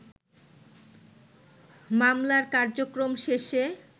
মামলার কার্যক্রম শেষে